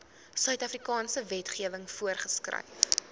suidafrikaanse wetgewing voorgeskryf